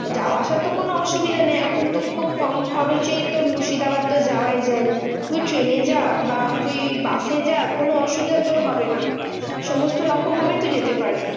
যাওয়া আসার তো কোনো অসুবিধা নেই এখনতো খুব কম খরচেই তোর মুর্শিদাবাদ তো যাওয়াই যায়। তুই ট্রেনে যা বা তুই বাসে যা, কোনো অসুবিধা তোর হবে না। সমস্ত রকম ভাবে তুই যেতে পারবি।